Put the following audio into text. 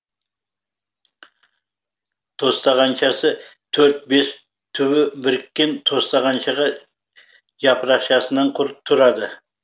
тостағаншасы төрт бес түбі біріккен тостағанша жапырақшасынан тұрады